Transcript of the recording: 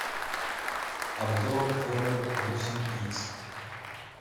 обзор хонор восемь икс